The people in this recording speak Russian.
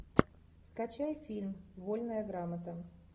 скачай фильм вольная грамота